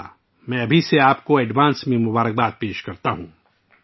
میں آپ کو ابھی سے پیشگی نیک خواہشات پیش کرتا ہوں